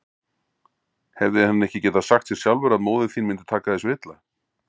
Hefði hann ekki getað sagt sér sjálfur að móðir þín mundi taka þessu illa?